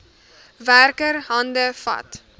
werker hande vat